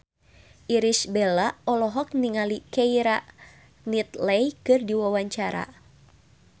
Irish Bella olohok ningali Keira Knightley keur diwawancara